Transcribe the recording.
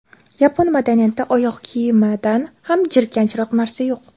Yapon madaniyatida oyoq kiyimidan ham jirkanchroq narsa yo‘q.